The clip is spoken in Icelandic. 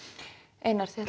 einar þetta